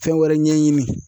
Fɛn wɛrɛ ɲɛɲini.